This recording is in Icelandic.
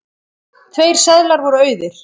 Tveir seðlar voru auðir.